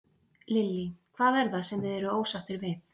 Lillý: Hvað er það sem þið eruð ósáttir við?